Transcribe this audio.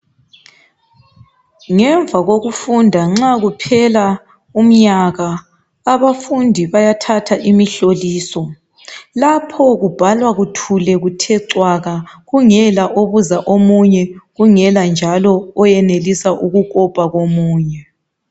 Ngemva kokufunda nxa kuphela umnyaka, abafundi bayathatha imihloliso. Lapho kubhalwa kuthule kuthe cwaka kungela obuza omunye, kungela njalo oyenelisa ukukopa komunye.